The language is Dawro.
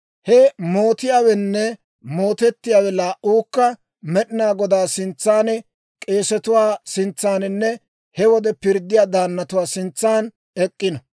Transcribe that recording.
he mootiyaawenne mootettiyaawe laa"uukka Med'inaa Godaa sintsan, k'eesetuwaa sintsaaninne he wode pirddiyaa daannatuwaa sintsan ek'k'ino.